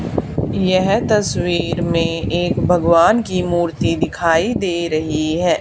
यह तस्वीर में एक भगवान की मूर्ति दिखाई दे रही है।